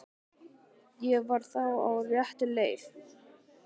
Ég var þá á réttri leið!